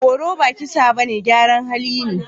Horo ba kisa bane, gyaran hali ne.